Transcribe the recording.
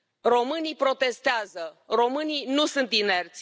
Românii protestează, românii nu sunt inerți.